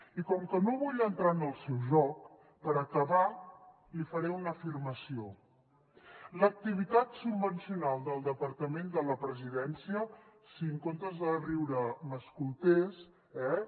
i com que no vull entrar en el seu joc per acabar li faré una afirmació l’activitat subvencional del departament de la presidència si en comptes de riure m’escoltés eh